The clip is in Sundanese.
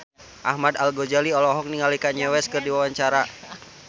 Ahmad Al-Ghazali olohok ningali Kanye West keur diwawancara